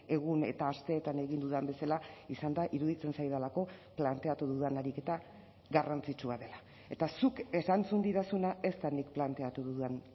egun eta asteetan egin dudan bezala izan da iruditzen zaidalako planteatu dudan ariketa garrantzitsua dela eta zuk erantzun didazuna ez da nik planteatu dudan